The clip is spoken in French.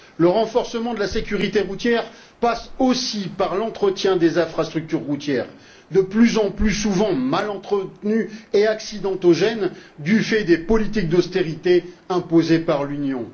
Le renforcement de la sécurité routière passe aussi par l'entretien des infrastructures routières, de plus en plus souvent mal entretenues et accidentogènes du fait des politiques d'austérité imposées par l'Union.